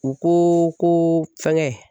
U ko ko fɛngɛ